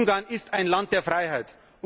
Ungarn ist ein Land der Freiheit.